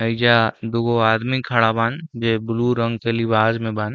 एइजा दुगो आदमी खड़ा बान जे ब्लू रंग के लिबाज में बान।